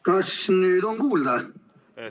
Kas nüüd on kuulda?